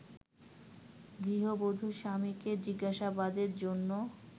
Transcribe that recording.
গৃহবধূর স্বামীকে জিজ্ঞাসাবাদের জন্য